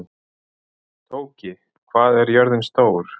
Tóki, hvað er jörðin stór?